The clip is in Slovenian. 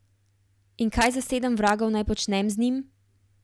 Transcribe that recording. In kaj za sedem vragov naj počnem z njim?